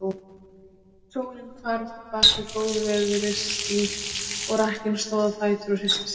Sólin hvarf bak við góðviðrisský, og rakkinn stóð á fætur og hristi sig.